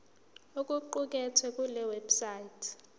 okuqukethwe kule website